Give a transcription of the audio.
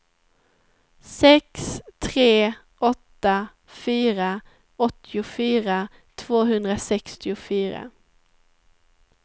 sex tre åtta fyra åttiofyra tvåhundrasextiofyra